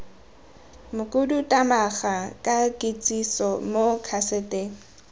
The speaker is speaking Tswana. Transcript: mokhuduthamaga ka kitsiso mo kaseteng